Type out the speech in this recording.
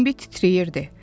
Bimbi titrəyirdi.